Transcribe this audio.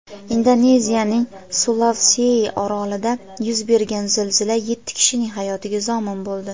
Indoneziyaning Sulavsei orolida yuz bergan zilzila yetti kishining hayotiga zomin bo‘ldi.